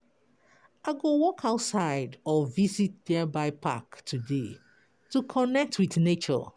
I go walk outside or visit nearby park today to connect with nature.